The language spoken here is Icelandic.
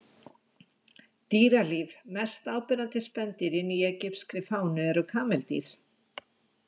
Dýralíf Mest áberandi spendýrin í egypskri fánu eru kameldýr.